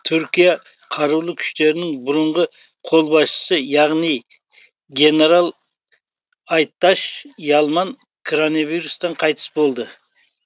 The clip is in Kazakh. түркия қарулы күштерінің бұрынғы қолбасшысы яғни генерал айтач ялман кронавирустан қайтыс болды